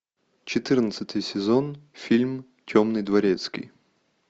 четырнадцатый сезон фильм темный дворецкий